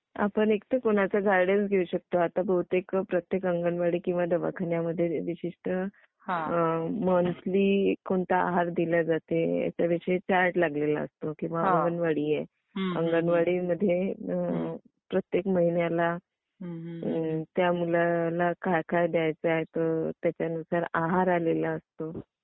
आपण इकडे कुणाचा गायडन्स घेऊ शकतो आता बहुतेक प्रत्येक अंगणवाडी किंवा दवाखान्यामध्ये विशिष्ट मंथली कोणता आहार दिले जाते, त्या विषयी चार्ट लागलेला असतो. किंवा मग आंगणवडी आहे.अंगणवाडी मध्ये प्रत्येक महिन्याला त्या मुलाला काय काय द्यायच आहे त्या नुसार आहार आलेला असतो.